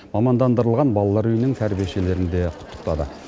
мамандандырылған балалар үйінің тәрбиешілерін де құттықтады